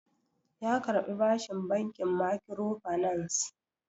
Ya karbi bashin bankin makkiro fanas